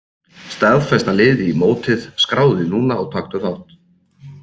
Staðfesta liðið í mótið Skráðu þig núna og taktu þátt!